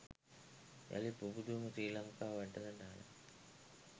යළි පුබුදමු ශ්‍රී ලංකා වැටසටහනයි